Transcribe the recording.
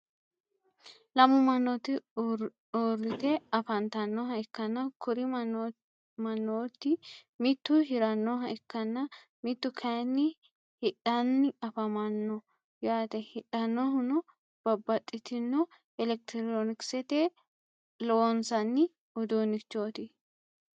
lammu manooti uurite afanitannoha ikanna kuri manooti mittu hirannoha ikanna mittu kayiini hidhanni afamanno yaate hidhannohuno babaxitino electironkisetenni loosanni uduunichooti.